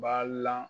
Ba lan